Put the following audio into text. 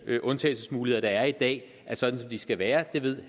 undtagelsesmuligheder der er i dag er sådan som de skal være og det ved